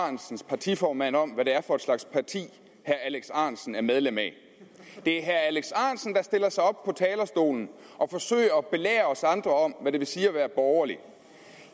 ahrendtsens partiformand om hvad det er for en slags parti herre alex ahrendtsen er medlem af det er herre alex ahrendtsen der stiller sig op på talerstolen og forsøger at belære os andre om hvad det vil sige at være borgerlig